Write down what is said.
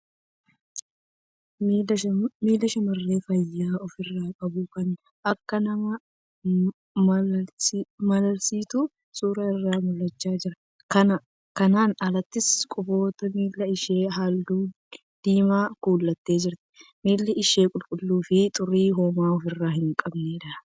Miila shamarree faaya ofirraa qabu kan akkaan nama malalchiisutu suura irraa mul'achaa jira. Kanaan alattis, Quboota miila ishee halluu diimaan kuultee jirti. Miilli ishee qulqulluu fi xurii homaa ofirraa hin qabneedha.